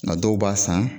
Nka dɔw b'a san